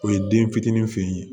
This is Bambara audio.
O ye den fitinin fe yen